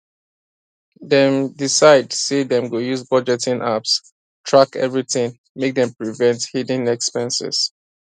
dem decide say dem go use budgeting apps track everything make dem prevent hidden expanses